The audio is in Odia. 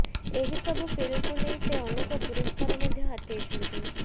ଏହି ସବୁ ଫିଲ୍ମକୁ ନେଇ ସେ ଅନେକ ପୁରସ୍କାର ମଧ୍ୟ ହାତେଇଛନ୍ତି